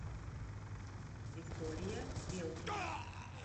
виктория белкина